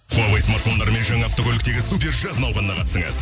хуавей смартфондарымен жаңа автокөліктегі супер жаз науқанына қатысыңыз